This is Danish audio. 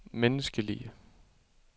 menneskelige